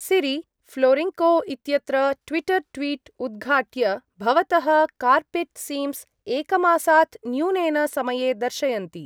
सिरि, फ़्लोरिङ्को इत्यत्र Twitter tweet उद्घाट्य भवतः कार्पेट् सीम्स् एकमासात् न्यूनेन समये दर्शयन्ति।